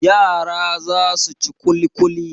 Yara za su ci ƙulƙuli.